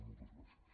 moltes gràcies